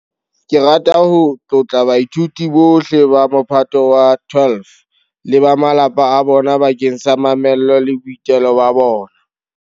Ke rata ho tlotla baithuti bohle ba Mophato wa 12 le ba malapa a bona bakeng sa mamello le boitelo ba bona.